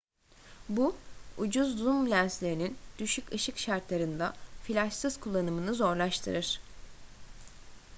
bu ucuz zoom lenslerinin düşük ışık şartlarında flaşsız kullanımını zorlaştırır